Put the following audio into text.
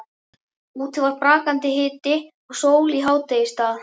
Úti var brakandi hiti og sól í hádegisstað.